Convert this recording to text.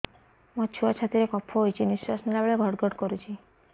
ମୋ ଛୁଆ ଛାତି ରେ କଫ ହୋଇଛି ନିଶ୍ୱାସ ନେଲା ବେଳେ ଘଡ ଘଡ କରୁଛି